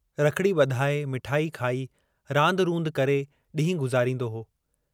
रखड़ी बधाए मिठाई खाई रांद रुंद करे डींहु गुज़ारींदो हो।